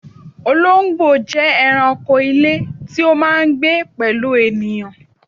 Olóńgbò jẹ́ ẹranko ilé tí ó máà ń gbé pẹ̀lú ènìyàn